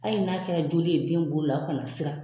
Hali n'a kɛra joli ye den bolo la o kana se ka